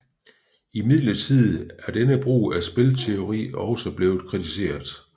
Imidlertid er denne brug af spilteori også blevet kritiseret